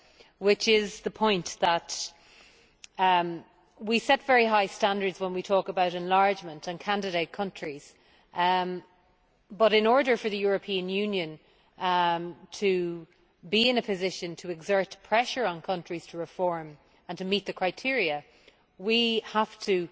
It is that we set very high standards when we talk about enlargement and candidate countries, but in order for the European Union to be in a position to exert pressure on countries to reform and to meet the criteria, we have to